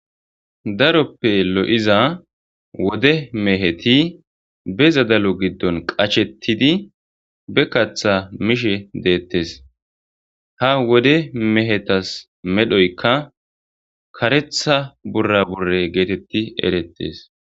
Daroppe lo7iza wode meheti be zadalo giddon qachettidi be katha mishe deettes ha wode mehetas medhoykka karetha burra burre geetetti erettes.